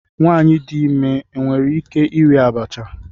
Nwanyị dị ime nwere ike iri abacha?